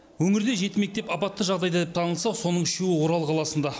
өңірде жеті мектеп апатты жағдайда деп танылса соның үшеуі орал қаласында